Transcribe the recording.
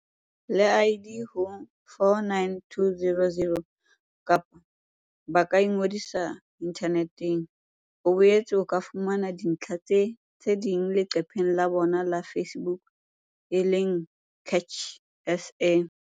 le ID ho 49200, kapa ba ka ingodisa inthaneteng. O boetse o ka fumana dintlha tse ding leqepheng la bona la Facebook e leng CACH SA.